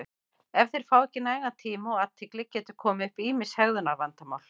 ef þeir fá ekki nægan tíma og athygli geta komið upp ýmis hegðunarvandamál